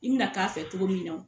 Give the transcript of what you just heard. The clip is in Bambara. I mi na k'a fɛ cogo min na o.